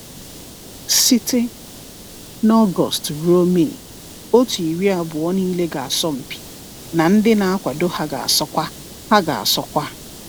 Site n’August ruo May, otu iri abụọ niile ga-asọmpi, na ndị na-akwado ha ga-asọkwa. ha ga-asọkwa.